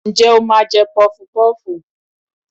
njẹ o ma jẹ pufú pufú?